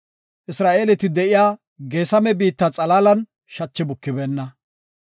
Isra7eeleti de7iya Geesame biitta xalaalan shachi bukibeenna.